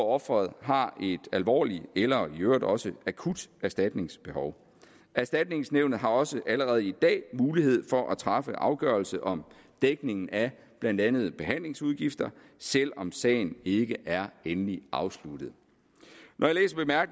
offeret har et alvorligt eller i øvrigt også akut erstatningsbehov erstatningsnævnet har også allerede i dag mulighed for at træffe afgørelse om dækning af blandt andet behandlingsudgifter selv om sagen ikke er endeligt afsluttet når